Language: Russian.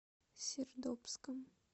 сердобском